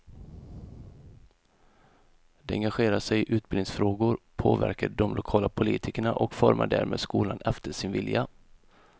De engagerar sig i utbildningsfrågor, påverkar de lokala politikerna och formar därmed skolan efter sin vilja.